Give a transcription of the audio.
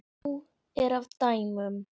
Nóg er af dæmum.